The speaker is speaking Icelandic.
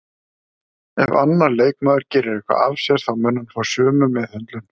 Ef annar leikmaður gerir eitthvað af sér þá mun hann fá sömu meðhöndlun